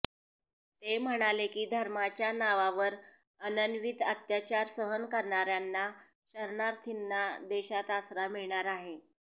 ते म्हणाले की धर्माच्या नावावर अनन्वित अत्याचार सहन करणाऱ्यांना शरणार्थींना देशात आसरा मिळणार आहे